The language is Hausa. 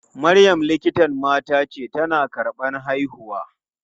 Maryam likitan mata ce, tana karɓan haihuwa.